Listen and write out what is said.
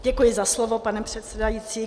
Děkuji za slovo, pane předsedající.